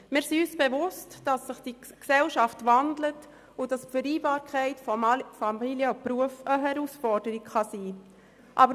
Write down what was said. Wir sind uns bewusst, dass sich die Gesellschaft wandelt und die Vereinbarkeit von Familie und Beruf eine Herausforderung sein kann.